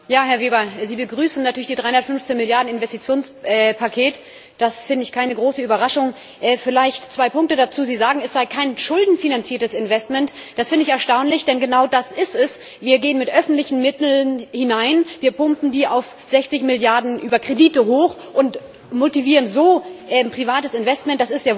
Frau Präsidentin! Herr Weber, Sie begrüßen natürlich das 315 Milliarden Investitionspaket, dass finde ich keine große Überraschung! Vielleicht zwei Punkte dazu Sie sagen, es sei kein schuldenfinanziertes Investment. Das finde ich erstaunlich, denn genau das ist es Wir gehen mit öffentlichen Mitteln hinein, wir pumpen die auf 60 Milliarden über Kredite hoch und motivieren so privates Investment.